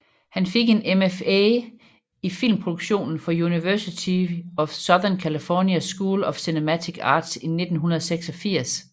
Han fik en MFA i filmproduktion fra University of Southern California School of Cinematic Arts i 1986